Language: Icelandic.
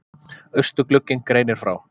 Austurglugginn greinir frá